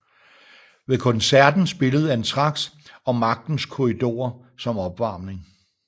Ved koncerten spillede Anthrax og Magtens Korridorer som opvarmning